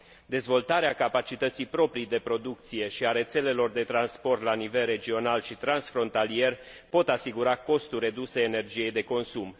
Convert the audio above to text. Dezvoltarea capacității proprii de producție și a rețelelor de transport la nivel regional și transfrontalier pot asigura costuri reduse ale energiei de consum.